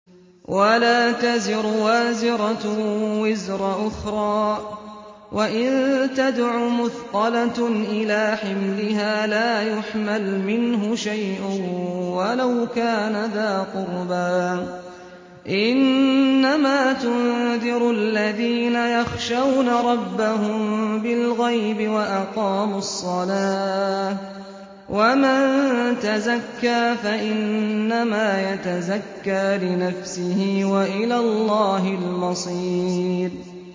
وَلَا تَزِرُ وَازِرَةٌ وِزْرَ أُخْرَىٰ ۚ وَإِن تَدْعُ مُثْقَلَةٌ إِلَىٰ حِمْلِهَا لَا يُحْمَلْ مِنْهُ شَيْءٌ وَلَوْ كَانَ ذَا قُرْبَىٰ ۗ إِنَّمَا تُنذِرُ الَّذِينَ يَخْشَوْنَ رَبَّهُم بِالْغَيْبِ وَأَقَامُوا الصَّلَاةَ ۚ وَمَن تَزَكَّىٰ فَإِنَّمَا يَتَزَكَّىٰ لِنَفْسِهِ ۚ وَإِلَى اللَّهِ الْمَصِيرُ